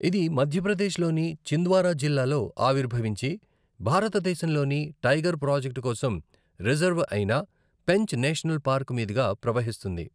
ఇది మధ్యప్రదేశ్లోని చింద్వారా జిల్లాలో ఆవిర్భవించి, భారతదేశంలోని టైగర్ ప్రాజెక్ట్ కోసం రిజర్వ్ అయిన పెంచ్ నేషనల్ పార్క్ మీదుగా ప్రవహిస్తుంది.